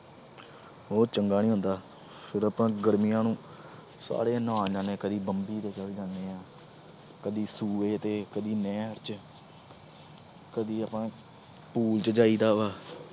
ਉਹ ਚੰਗਾ ਨੀ ਹੁੰਦਾ। ਫਿਰ ਆਪਾ ਗਰਮੀਆਂ ਨੂੰ ਸਾਰੇ ਆਪਾ ਨਹਾਉਣ ਜਾਂਦੇ, ਕਦੇ ਬੰਬੀ ਤੇ ਚਲੇ ਜਾਂਦੇ ਆ ਕਦੀ ਸੂਏ ਤੇ, ਕਈ ਨਹਿਰ ਚ। ਕਦੀ ਆਪਾ pool ਚ ਜਾਇਦਾ।